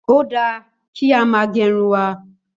Ó dà kí á má gèrún wà